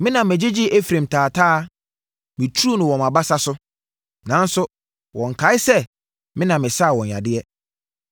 Me na megyegyee Efraim taataa, meturu no wɔ mʼabasa so; nanso, wɔnkae sɛ me na mesaa wɔn yadeɛ.